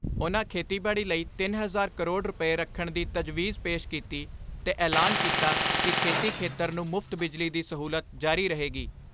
ਉਨ੍ਹਾਂ ਖੇਤੀਬਾੜੀ ਲਈ ਤਿੰਨ ਹਜ਼ਾਰ ਕਰੋੜ ਰੁਪਏ ਰੱਖਣ ਦੀ ਤਜਵੀਜ਼ ਪੇਸ਼ ਕੀਤੀ ਤੇ ਐਲਾਨ ਕੀਤਾ ਕਿ ਖੇਤੀ ਖੇਤਰ ਨੂੰ ਮੁਫ਼ਤ ਬਿਜਲੀ ਦੀ ਸਹੂਲਤ ਜਾਰੀ ਰਹੇਗੀ।